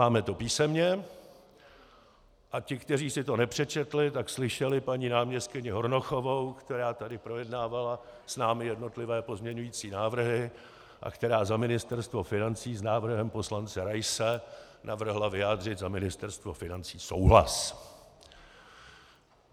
Máme to písemně a ti, kteří si to nepřečetli, tak slyšeli paní náměstkyni Hornochovou, která tady projednávala s námi jednotlivé pozměňující návrhy a která za Ministerstvo financí s návrhem poslance Raise navrhla vyjádřit za Ministerstvo financí souhlas.